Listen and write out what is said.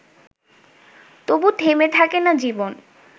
তবু থেমে থাকে না জীবন